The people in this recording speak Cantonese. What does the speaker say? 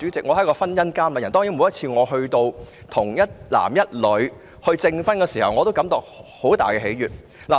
我是婚姻監禮人，每次為一男一女證婚時都會感到莫大喜悅。